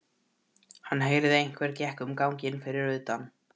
Hann heyrði að einhver gekk um ganginn fyrir utan.